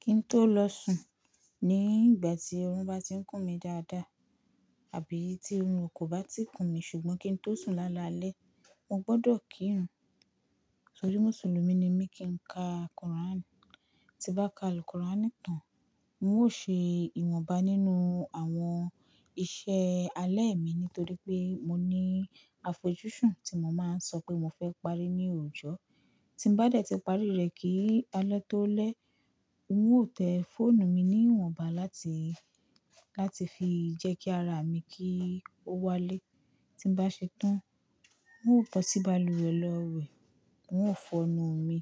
Kí n tó lọ sùn ní ìgbà tí oorun bá ti ń kún mi dáadáa, àbí tí oorun ko bá ti kún mi, ṣùgbọ́n kí n tó sùn lálalẹ́, mo gbọdọ̀ kírun. Torí Mùsùlùmí ni mí kí n ka Quran. Ti bá ka al-Quran tán, n ó ṣe ìwọ̀nba nínú àwọn iṣẹ́ alẹ́ mi nítorí pé mo ní àfojúsùn tí mo máa ń sọ pé mo fẹ́ parí ní òòjọ́. Tí n bá dẹ̀ ti parí rẹ̀ kí alẹ́ tó lẹ́, n ó tẹ fọ́ọ̀nù mi ní ìwọ̀nba láti, láti fi jẹ́ kí ara mi kí ó wálé. Tí n bá ṣetán, n ó bọsí bàlùwẹ̀ lọ wẹ̀, n ó fọ ẹnu mi.